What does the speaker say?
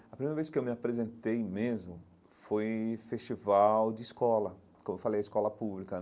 A primeira vez que eu me apresentei mesmo foi em festival de escola, como eu falei, escola pública.